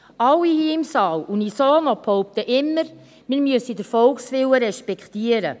Alle hier im Saal, behaupten immer unisono, man müsse den Volkswillen respektieren.